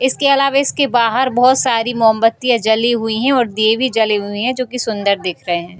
इसके अलावा इसके बाहर बहुत सारी मोमबत्तियाँ जली हुई हैं और दिये भी जले हुए हैं जो की सुंदर दिख रहे हैं।